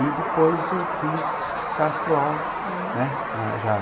E depois eu fiz Castro Alves, hm, né, né, já...